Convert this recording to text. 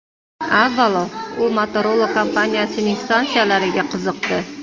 Avvalo, u Motorola kompaniyasining stansiyalariga qiziqdi.